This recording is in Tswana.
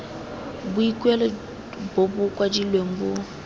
boikuelo bo bo kwadilweng bo